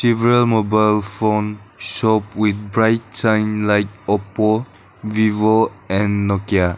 real mobile phone shop with bright sign like oppo vivo and nokia.